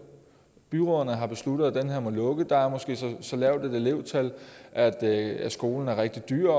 byrådet har besluttet at den her må lukke der er måske så så lavt et elevtal at at skolen er rigtig dyr